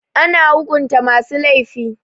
Ana hukunta masu laifi.